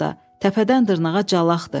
Təpədən dırnağa calaxdır.